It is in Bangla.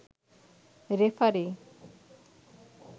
রেফারি